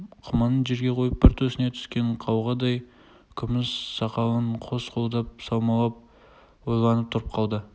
құманын жерге қойып бір төсіне түскен қауғадай күміс сақалын қос қолдап саумалап ойланып тұрып қалды